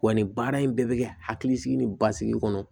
Wa nin baara in bɛɛ bɛ kɛ hakilisigi ni basigi kɔnɔ